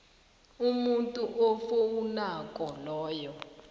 umuntu ofowunako loyo